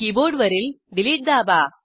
कीबोर्डवरीलDelete दाबा